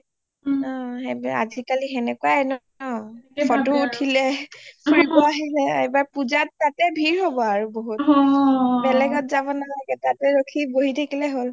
অ আজিকালি সেনেকুৱাই ন photo উঠিলে ফুৰিব আহিলে এইবাৰ পূজাত তাতে ভীৰ হব ৰো বহুত বেলেগত যাব নালাগে তাতে বহি ৰখি থাকিলে হল